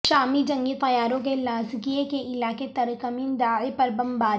شامی جنگی طیاروں کی لازکیے کے علاقے ترکمین داع پر بمباری